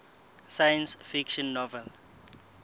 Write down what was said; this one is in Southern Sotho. science fiction novel